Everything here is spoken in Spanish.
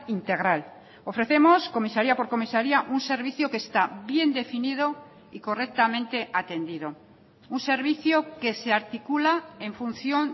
integral ofrecemos comisaría por comisaría un servicio que está bien definido y correctamente atendido un servicio que se articula en función